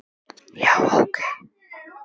Já, ok.